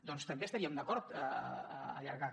doncs també estaríem d’acord a allargar ho